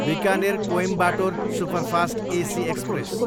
Bikaner, Coimbatore superfast AC express